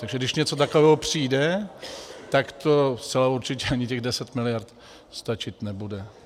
Takže když něco takového přijde, tak zcela určitě ani těch 10 miliard stačit nebude.